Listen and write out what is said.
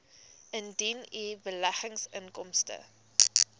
indien u beleggingsinkomste